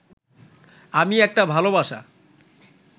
আমি একটা ভাল বাসা